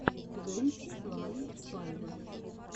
твенти ван пайлотс